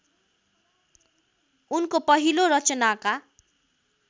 उनको पहिलो रचनाका